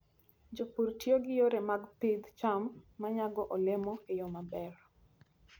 Jopur tiyo gi yore mag pidh cham ma nyago olemo e yo maber.